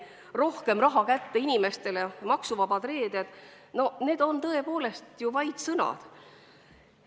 Rohkem raha kätte inimestele, maksuvabad reeded – need on tõepoolest olnud vaid sõnad.